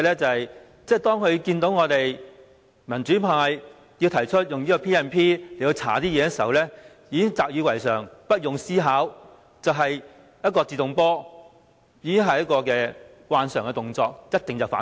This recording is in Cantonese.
當政府看到民主派提出引用《權力及特權條例》調查事件時，便習以為常，不用思考，"自動波"，慣常動作一定是先反對。